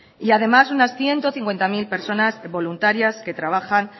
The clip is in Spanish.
y además unas ciento cincuenta mil personas voluntarias que trabajan